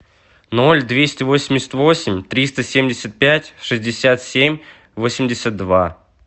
ноль двести восемьдесят восемь триста семьдесят пять шестьдесят семь восемьдесят два